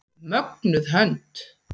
Mögnuð hönd.